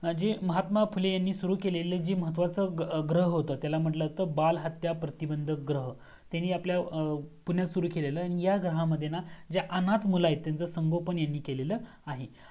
म्हणजे महात्मा फुले यांनी सुरू केलेले महत्वाचा ग्रह होत. त्याला म्हणल्या जात बाल हत्या प्रतिबंध ग्रह त्यांनी आपल्या पुण्यात सुरू केलेलं आणि ह्या ग्रहा मध्ये ना जे अनार्थ मुळा आहेत त्यांचा संपर्क यांनी केलेलं आहे.